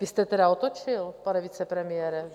Vy jste teda otočil, pane vicepremiére.